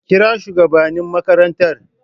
kira shugabannin makarantar